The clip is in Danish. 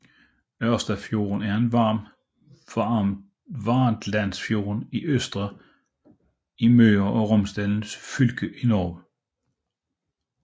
Ørstafjorden er en arm af Vartdalsfjorden i Ørsta i Møre og Romsdal fylke i Norge